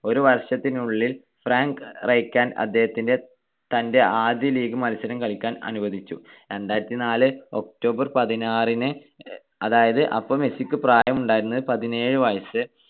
ഒരു വർഷത്തിനുള്ളിൽ Frank Rijkaard അദ്ദേഹത്തെ തന്റെ ആദ്യ league മത്സരം കളിക്കാൻ അനുവദിച്ചു. രണ്ടായിരത്തിനാല് october പതിനാറിന് അതായത് അപ്പൊ മെസ്സിക്ക് പ്രായം ഉണ്ടായിരുന്നത് പതിനേഴു വയസ്സ്